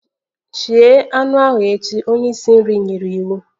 Shie anụ ahu echi! Onye isi nri nyere iwu.